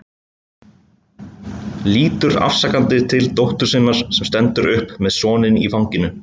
Lítur afsakandi til dóttur sinnar sem stendur upp með soninn í fanginu.